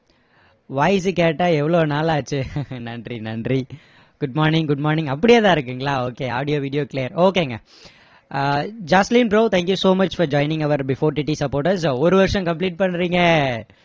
voice உ கேட்டா எவ்வளோ நாளாச்சு நன்றி நன்றி good mornig good morning அப்படியே தான் இருக்குங்களா okay audio video clear okay ங்க அஹ் Jacqueline bro thank you so much for joining our before TT supporters ஒரு வருஷம் complete பண்றீங்க